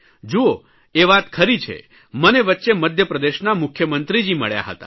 જૂઓ એ વાત ખરી છે મને વચ્ચે મધ્યપ્રદેશના મુખ્યમંત્રી મળ્યા હતા